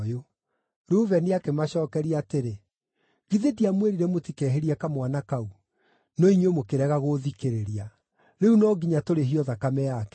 Rubeni akĩmacookeria atĩrĩ, “Githĩ ndiamwĩrire mũtikehĩrie kamwana kau? No inyuĩ mũkĩrega gũũthikĩrĩria! Rĩu no nginya tũrĩhio thakame yake.”